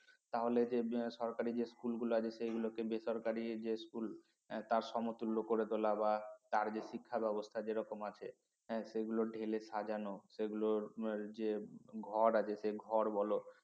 তাহলে যে সরকারি school গুলো আছে সেই গুলোকে বেসরকারি যে school তার সমতুল্য করে তোলা বা তার যে শিক্ষা ব্যবস্থা যে রকম আছে সেগুলো ঢেলে সাজানো সেগুলোর যে ঘর আছে সে ঘর বল